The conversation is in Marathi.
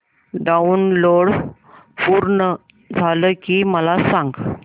डाऊनलोड पूर्ण झालं की मला सांग